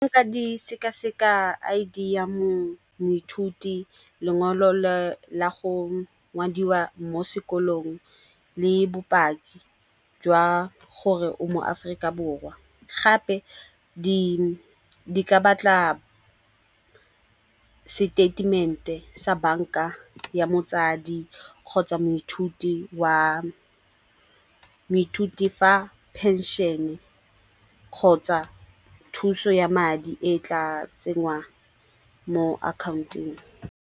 Ka di sekaseka I_D ya moithuti, lengwalo la go ngwadiwa mo sekolong le bopaki jwa gore o mo aforika borwa. Gape di ka batla seteitemente sa banka ya motsadi kgotsa moithuti fa phenšene kgotsa thuso ya madi e tla tsengwang mo account-eng.